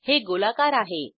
हे गोलाकार आहे